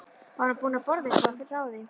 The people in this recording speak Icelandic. Var hún búin að borða eitthvað að ráði?